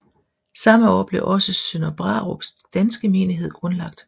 Samme år blev også Sønder Brarups danske menighed grundlagt